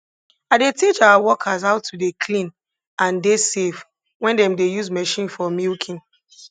i dey teach our workers how to dey clean and dey safe when dem dey use machine for milking